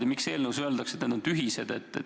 Ja miks eelnõus öeldakse, et need on tühised?